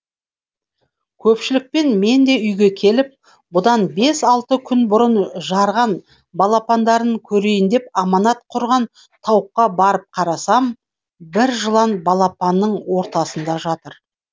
көпшілікпен мен де үйге келіп бұдан бес алты күн бұрын жарған балапандарын көрейін деп аманат құрған тауыққа барып қарасам бір жылан балапанның ортасында жатыр